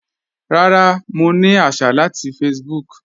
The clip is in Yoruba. Rárá, mọ̀ ní àṣà láti Facebook.